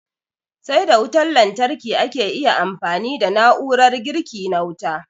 Sai da wutan lantarki ake iya amfani da na'urar girki na wuta.